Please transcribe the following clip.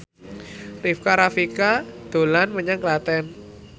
Rika Rafika dolan menyang Klaten